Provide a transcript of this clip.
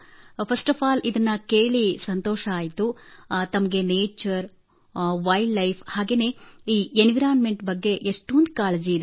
first of all ಮೊದಲಿಗೆ ಇದನ್ನು ಕೇಳಿ ಸಂತೊಷವಾಯಿತು ತಮಗೆ nature wild life and environment ಬಗ್ಗೆ ಎಷ್ಟೊಂದು ಕಾಳಜಿ ಇದೆ